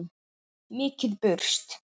Mikið burst.